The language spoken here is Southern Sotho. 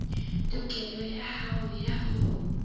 tokelo ya hao ya ho